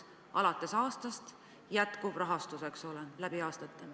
Sellest aastast alates, eks ole, jätkub rahastus läbi aastate.